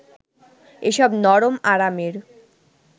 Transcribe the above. এসব নরম আরামের